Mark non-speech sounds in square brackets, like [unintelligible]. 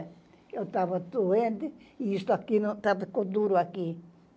Eu estava doente e isso aqui [unintelligible] ficou duro aqui.